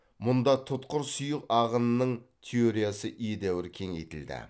мұнда тұтқыр сұйық ағынының теориясы едәуір кеңейтілді